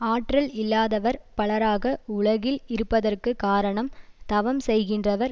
ஆற்றல் இல்லாதவர் பலராக உலகில் இருப்பதற்கு காரணம் தவம் செய்கின்றவர்